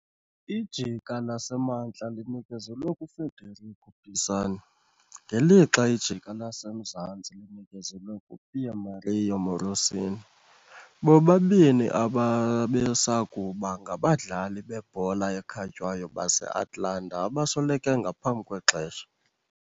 Ijika laseMantla linikezelwe kuFederico Pisani ngelixa ijika laseMzantsi linikezelwe kuPiermario Morosini, bobabini ababesakuba ngabadlali bebhola ekhatywayo base-Atalanta abasweleke ngaphambi kwexesha.